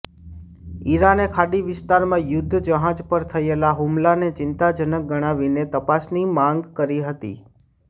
ઈરાને ખાડી વિસ્તારમાં યુદ્ધજહાજ પર થયેલા હુમલાને ચિંતાજનક ગણાવીને તપાસની માગ કરી હતી